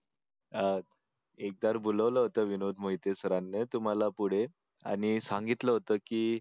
अं एकदा बोलवलं होतं विनोद मोहिते सरांनी तुम्हाला पुढे आणि सांगितलं होतं की